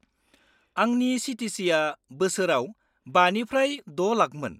-आंनि चि.टि चि.आ बोसोराव 5 निफ्राय 6 लाखमोन।